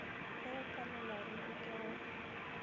ge o palelwaruri ke go